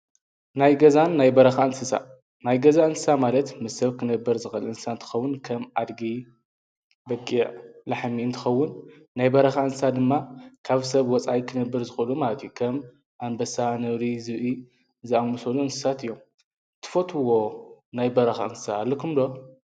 ናይ ገዛን ናይ በረካን እንስሳ ናይ ገዛ እንስሳ ማለት ምስ ሰብ ክነብር ዝክእል እንስሳ እንትኸውን ከም አድጊ በጊዕ ላሕሚ እንትኸውን ናይ በረኪ እንስሳት ድማ ካብ ሰብ ወፃኢ ክነብር ዝክእሉ ማለት እዩ ። ከም እንበሳ ነብሪ ዝብኢ ዘአመሰሉ እንስሳት እዮም:: ትፈትውዎ ናይ በረካ እንስሳ አለኩም ዶ?